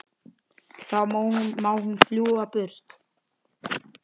Þá má hún fljúga burtu.